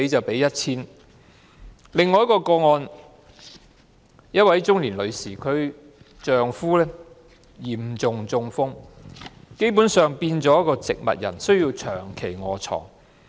另一宗個案，一位中年女士的丈夫嚴重中風，基本上已變成植物人，需要長期臥床。